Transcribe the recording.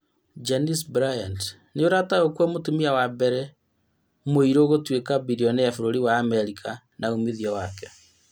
Janice Bryant, nĩũrataũkwo mũtumia wa mbere mũirũ gũtuĩka birionea bũrũri wa Amerika na ũmithio wake